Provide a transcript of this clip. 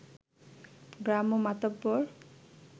গ্রাম্য মাতব্বর